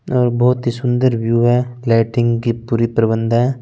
और बहोत ही सुन्दर व्यू है लेईट्रिंग की पूरी प्रबन्द है ।